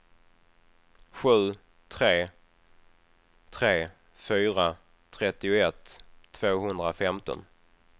sju tre tre fyra trettioett tvåhundrafemton